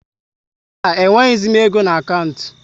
Mba, e nweghịzi m égo n' akantị m